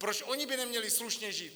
Proč oni by neměli slušně žít?